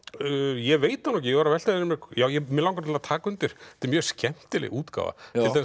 ég veit það nú ekki ég var að velta fyrir mér já mig langar til að taka undir þetta er mjög skemmtileg útgáfa